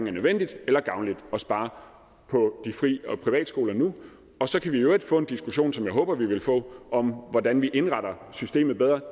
er nødvendigt eller gavnligt at spare på fri og privatskolerne nu og så kan vi i øvrigt få en diskussion som jeg håber vi vil få om hvordan vi indretter systemet bedre